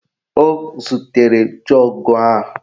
O zutere jọọgụ a